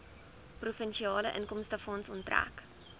provinsiale inkomstefonds onttrek